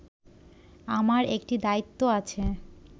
আমার একটি দায়িত্ব আছে